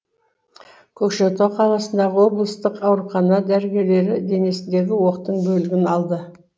көкшетау қаласындағы облыстық аурухана дәрігерлері денесіндегі оқтың бөлігін алды